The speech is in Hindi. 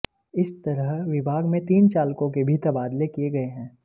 इस तरह विभाग में तीन चालकों के भी तबादले किए गए हैं